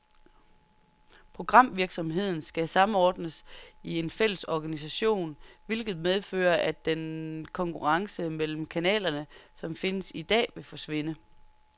Programvirksomheden skal samordnes i en fælles organisation, hvilket medfører, at den konkurrence mellem kanalerne, som findes i dag, vil forsvinde.